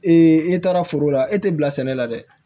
i taara foro la e tɛ bila sɛnɛ la dɛ